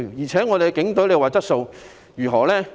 再說，我們的警隊質素如何？